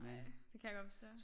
Ej det kan jeg godt forstå